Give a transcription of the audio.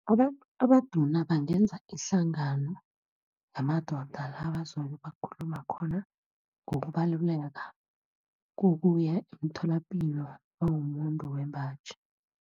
Abantu abaduna bangenza ihlangano yamadoda, la bazobe bakhuluma khona ngokubaluleka kokuya emtholapilo nawumumuntu wembaji.